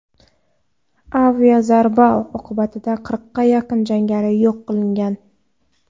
Aviazarba oqibatida qirqqa yaqin jangari yo‘q qilingan.